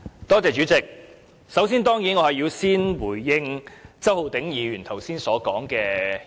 主席，我首先當然要回應周浩鼎議員剛才的發言。